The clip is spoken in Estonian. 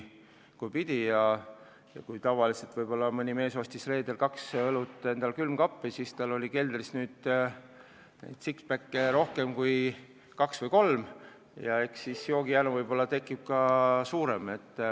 Kui tavaliselt mees ostis reedeks kaks õlut endale külmkappi, siis Lätist ta tõi kaks või kolm six-pack'i ja eks sel juhul on joogijanu võib-olla ka suurem.